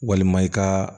Walima i ka